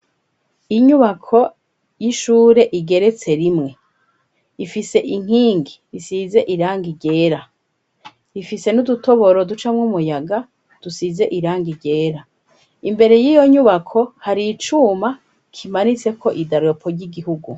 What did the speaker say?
Inyubako y'ishure igeretse rimwe ifise inkingi isize iranga ryera ifise n'udutoboro ducamwo umuyaga dusize irangi ryera imbere yiyo nyubako hari icuma kimanitseko idaropo ry'igihugu.